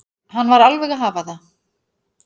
Hann var alveg að hafa það.